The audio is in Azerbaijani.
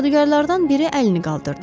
Cadugarlardan biri əlini qaldırdı.